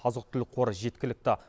азық түлік қоры жеткілікті